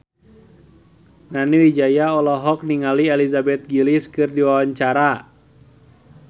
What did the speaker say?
Nani Wijaya olohok ningali Elizabeth Gillies keur diwawancara